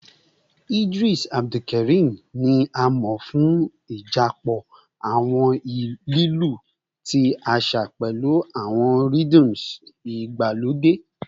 Idris Abdulkarim ni a mọ fun idapọ awọn lilu ti aṣa pẹlu awọn rhyths igbalode